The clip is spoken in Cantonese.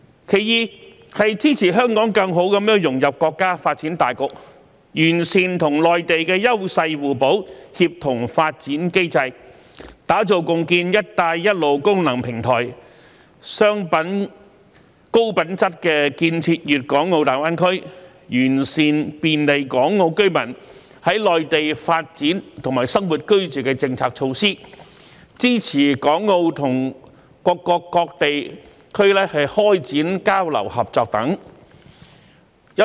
其二，是支持香港更好融入國家發展大局，包括完善與內地優勢互補、協同發展機制，打造共建"一帶一路"功能平台，高質量建設粵港澳大灣區，完善便利港澳居民在內地發展和生活居住的政策措施，支持港澳與各國各地區開展交流合作等。